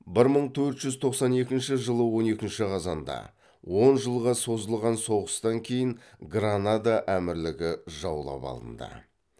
бір мың төрт жүз тоқсан екінші жылы он екінші қазанда он жылға созылған соғыстан кейін гранада әмірлігі жаулап алынды